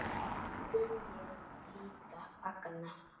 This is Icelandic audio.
Við viljum líka fagna.